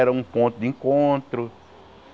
Era um ponto de encontro.